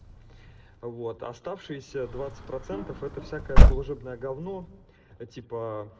вот оставшиеся двадцать процентов это всякое служебное говно типа